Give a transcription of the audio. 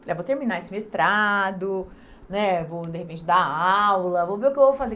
Falei ah, vou terminar esse mestrado, né, vou, de repente, dar aula, vou ver o que eu vou fazer.